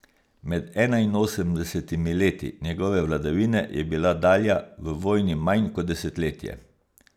Med enainosemdesetimi leti njegove vladavine je bila Dalja v vojni manj kot desetletje.